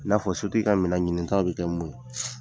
I n'a fɔ sotigi ka minɛ ɲinitaw bɛ kɛ mun ye?